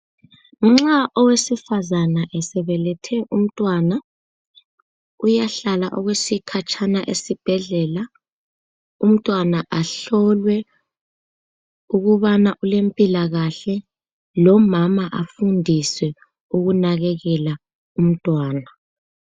Nxa owesifazana esebelethe umntwana, uyahlala okwesikhatshana esibhedlela umntwana ahlolwe ukubana ulempilakahle lomama afundiswe ukunakekela umntwana.